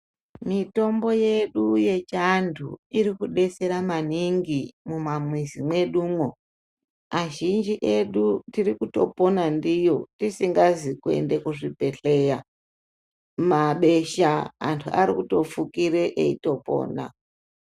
Mitombo yedu yechianthu irikudetsera maningi mumamizi mwedumwo azhinji edu tiri kutopona ndiyo tisingazi kuende kuzvibhedhleya mabesha anthu arikutofukira eitopona.